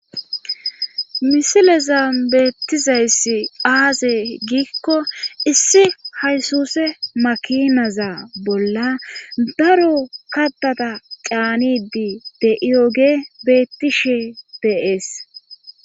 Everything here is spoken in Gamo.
misileza beettizayssi aaze giikko issi haysuse makinaza bolla daro kattata caanidi de7iyoge beettishe beees